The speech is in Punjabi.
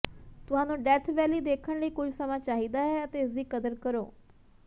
ਤੁਹਾਨੂੰ ਡੈਥ ਵੈਲੀ ਦੇਖਣ ਲਈ ਕੁਝ ਸਮਾਂ ਚਾਹੀਦਾ ਹੈ ਅਤੇ ਇਸ ਦੀ ਕਦਰ ਕਰੋ